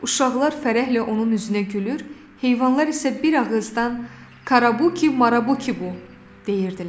Uşaqlar fərəhlə onun üzünə gülür, heyvanlar isə bir ağızdan Qarabuqi Marabuqibu! deyirdilər.